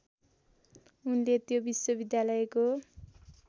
उनले त्यो विश्वविद्यालयको